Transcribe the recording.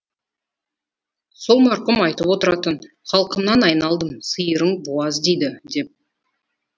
сол марқұм айтып отыратын халқымнан айналдым сиырың буаз дейді деп